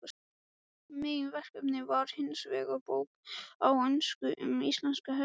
Meginverkefnið var hinsvegar bók á ensku um íslenska hestinn, sem